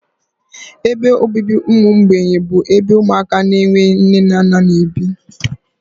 Ebe obibi ụmụ mgbei bụ ebe ụmụaka na-enweghị nne na nna n'ebi